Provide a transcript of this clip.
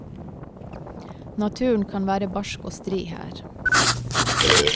Naturen kan være barsk og stri her.